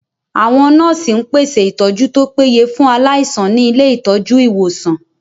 Àwọn nọ́ọ̀sì ń pèsè ìtọ́jú tó péye fún aláìsàn ní ilé ìtọ́jú/ ìwòsàn